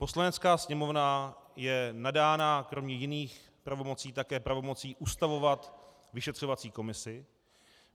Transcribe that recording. Poslanecká sněmovna je nadána kromě jiných pravomocí také pravomocí ustavovat vyšetřovací komisi.